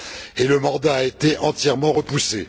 et le mandat a été entièrement repoussé.